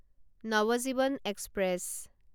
Navajivan express